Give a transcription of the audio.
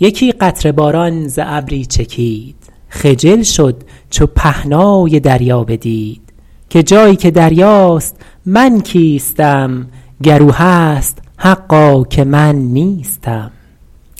یکی قطره باران ز ابری چکید خجل شد چو پهنای دریا بدید که جایی که دریاست من کیستم گر او هست حقا که من نیستم